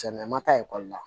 Cɛnna an ma taa ekɔli la